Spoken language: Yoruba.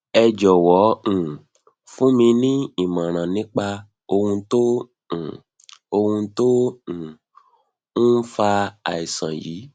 ẹ jọwọ um fún mi ní ìmọràn nípa ohun tó um ohun tó um ń fa àìsàn yìí